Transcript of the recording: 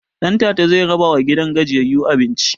Ɗantata zai rabawa gidan gajiyayyu abinci